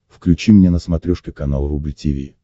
включи мне на смотрешке канал рубль ти ви